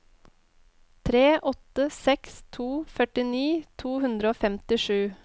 tre åtte seks to førtini to hundre og femtisju